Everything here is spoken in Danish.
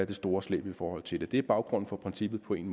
det store slæb i forhold til det det er baggrunden for princippet på en